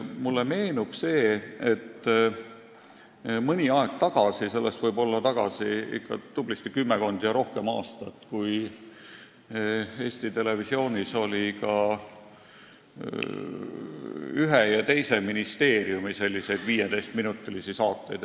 Mulle meenub, et mõni aeg tagasi – sellest võib olla ikka tubli kümmekond ja rohkem aastat – oli Eesti Televisioonis ühe ja teise ministeeriumi 15-minutilisi saateid.